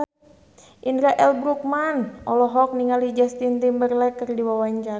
Indra L. Bruggman olohok ningali Justin Timberlake keur diwawancara